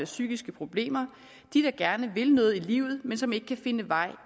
psykiske problemer de der gerne vil noget i livet men som ikke kan finde vej